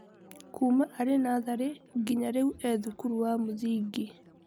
Kuuma arĩ natharĩ nginya rĩu e-thukuru wa mũthingi.